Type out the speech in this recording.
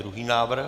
Druhý návrh?